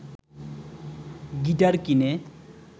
guitar কিনে